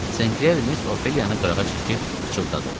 Sinkler Miss Ofeliyanı qırağa çəkib pıçıldadı.